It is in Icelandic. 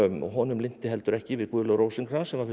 honum lynti heldur ekki við Guðlaug Rósinkranz sem var fyrsti